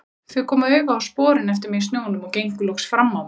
Þau komu auga á sporin eftir mig í snjónum og gengu loks fram á mig.